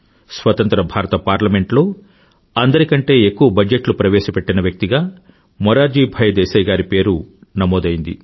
స్వతంత్ర భారత పార్లమెంట్ లో అందరి కంటే ఎక్కువ బడ్జెట్ ప్రవేశపెట్టిన వ్యక్తిగా మొరార్జీ భాయ్ దేశాయ్ గారి పేరు నమోదైంది